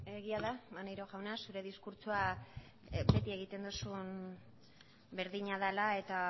egia da maneiro jauna zure diskurtsoa beti egiten duzun berdina dela eta